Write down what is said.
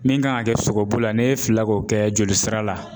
Min kan ka kɛ sogobu la n'e filila k'o kɛ jolisira la